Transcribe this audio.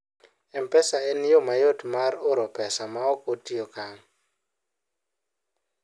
mpesa en yo mayot mar oro pesa maok otiyo kank